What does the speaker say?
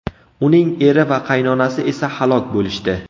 Uning eri va qaynonasi esa halok bo‘lishdi.